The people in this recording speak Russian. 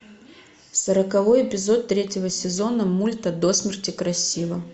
сороковой эпизод третьего сезона мульта до смерти красива